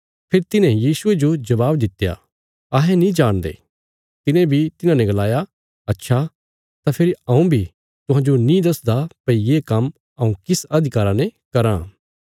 फेरी तिन्हे यीशुये जो जबाब दित्या अहें नीं जाणदे तिने बी तिन्हाने गलाया अच्छा तां फेरी हऊँ बी तुहांजो नीं दसदा भई ये काम्म हऊँ किस अधिकारा ने कराँ